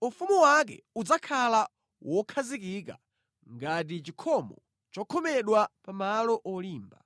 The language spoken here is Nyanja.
Ufumu wake udzakhala wokhazikika ngati chikhomo chokhomedwa pa malo olimba.